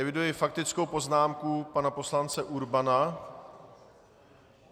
Eviduji faktickou poznámku pana poslance Urbana.